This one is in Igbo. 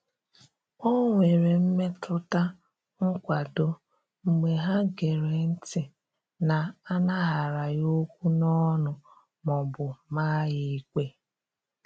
O nwere mmetụta nkwado mgbe ha gere ntị na-anaghara ya okwu n'ọnụ ma ọ bụ maa ya ikpe.